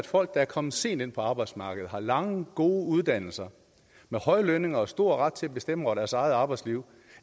folk der er kommet sent ind på arbejdsmarkedet har lange gode uddannelser høje lønninger og stor ret til at bestemme over deres eget arbejdsliv